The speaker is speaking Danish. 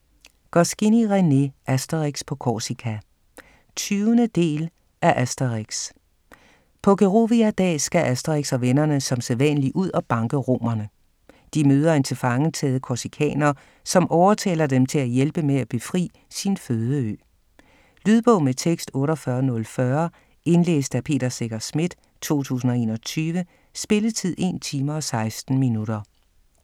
Goscinny, René: Asterix på Korsika 20. del af Asterix. På Gerovia-dag skal Asterix og vennerne som sædvanlig ud og banke romerne. De møder en tilfangetaget korsikaner, som overtaler dem til at hjælpe med at befri sin fødeø. Lydbog med tekst 48040 Indlæst af Peter Secher Schmidt, 2021. Spilletid: 1 time, 16 minutter.